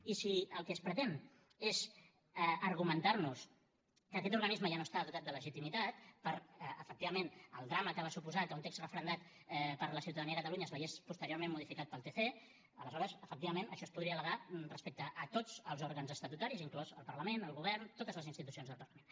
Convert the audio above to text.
i si el que es pretén és argumentar nos que aquest organisme ja no està dotat de legitimitat per efectivament el drama que va suposar que un text referendat per la ciutadania de catalunya es veiés posteriorment modificat pel tc aleshores efectivament això es podria al·legar respecte a tots els òrgans estatutaris inclòs el parlament el govern totes les institucions del parlament